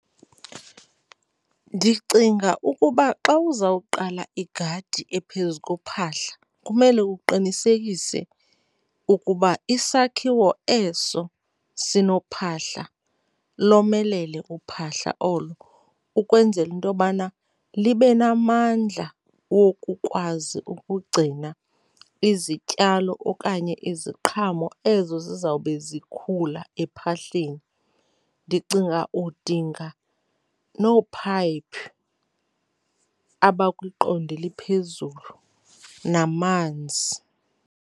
Ndicinga ukuba xa uzawuqala igadi ephezu kophahla kumele uqinisekise ukuba isakhiwo eso sinophahla, lomelele uphahla olo ukwenzela into yobana libe namandla wokukwazi ukugcina izityalo okanye iziqhamo ezo zizawube zikhula ephahleni. Ndicinga udinga noophayiphi abakwiqondo eliphezulu namanzi.